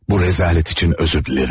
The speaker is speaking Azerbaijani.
Bu rəzalət üçün üzr diləyirəm.